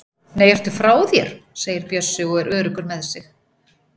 Nei, ertu frá þér! segir Bjössi og er öruggur með sig.